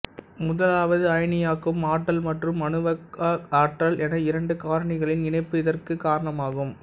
முதலாவது அயனியாக்கும் ஆற்றல் மற்றும் அணுவாக்க ஆற்றல் என்ற இரண்டு காரணிகளின் இணைப்பு இதற்குக் காரணமாகும்